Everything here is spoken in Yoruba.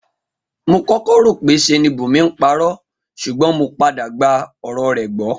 Mo kó̩kó̩ rò pé s̩e ni Bùnmi ń paró̩ s̩ùgbó̩n mo padà gba ò̩rò̩ rè̩ gbó̩